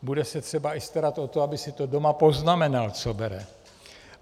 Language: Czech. Bude se třeba i starat o to, aby si to doma poznamenal, co bere.